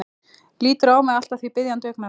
Lítur á mig allt að því biðjandi augnaráði.